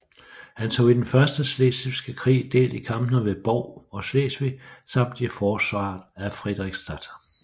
Han tog i den første slesvigske krig del i kampene ved Bov og Slesvig samt i forsvaret af Frederiksstad